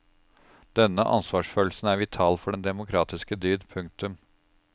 Denne ansvarsfølelsen er vital for den demokratiske dyd. punktum